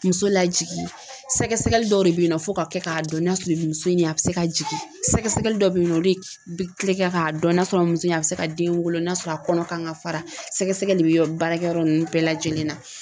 Muso lajigi sɛgɛsɛgɛli dɔ de bɛ ye nɔ fo ka kɛ k'a dɔn n'a sɔrɔ ni muso in a bɛ se ka jigin sɛgɛsɛgɛli dɔ bɛ yen nɔ olu bɛ kɛ k'a dɔn n'a sɔrɔ muso in a bɛ se ka den wolo n'a sɔrɔ a kɔnɔ kan ka fara sɛgɛsɛgɛli de bɛ baarakɛyɔrɔ ninnu bɛɛ lajɛlen na.